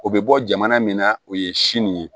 O bɛ bɔ jamana min na o ye sini ye